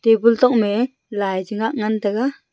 table tokme lai che ngak ngan taga.